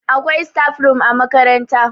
akwai. staf room a makaranta